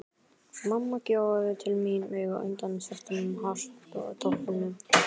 Mamma gjóaði til mín auga undan svörtum hártoppnum.